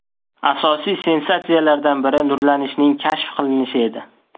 Asosiy sensatsiyalardan biri nurlanishning kashf qilinishi edi.